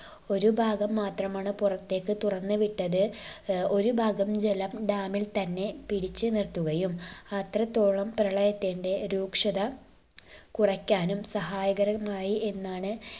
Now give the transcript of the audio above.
ഒരു ഭാഗം മാത്രമാണ് പുറത്തേക്ക് തുറന്ന് വിട്ടത് ഏർ ഒരു ഭാഗം ജലം dam ൽ തന്നെ പിടിച്ച് നിർത്തുകയും അത്രത്തോളം പ്രളയത്തിന്റെ രൂക്ഷത കുറയ്ക്കാനും സഹായകരമായി എന്നാണ്